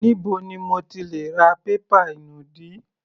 Níbo ni mo ti lè ra pépà inùdí?